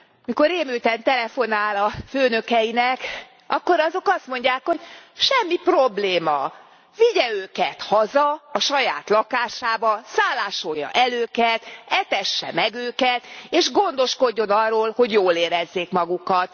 Mikor rémülten telefonál a főnökeinek, akkor azok azt mondják, hogy semmi probléma, vigye őket haza a saját lakásába, szállásolja el őket, etesse meg őket és gondoskodjon arról, hogy jól érezzék magukat.